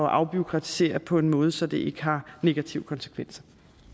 afbureaukratisere på en måde så det ikke har negative konsekvenser